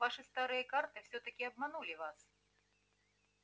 ваши старые карты всё-таки обманули вас